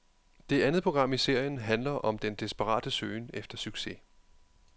Det andet program i serien handler om den desperate søgen efter succes.